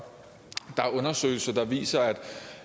der er undersøgelser der viser at